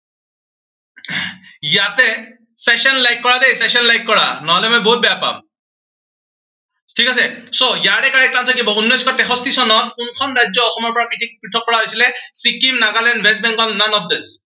ইয়াতে session like কৰা দেই session like কৰা নহলে মই বহুত বেয়া পাম। ঠিক আছে, so ইয়াৰে correct answer কি হব, উনৈচশ তেষষ্ঠি চনত কোনখন ৰাজ্য় অসমৰ পৰা পৃথক কৰা হৈছিলে, Sikkim, Nagaland, West Bangle, none of this